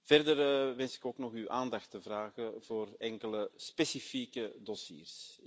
Verder wens ik ook uw aandacht te vragen voor enkele specifieke dossiers.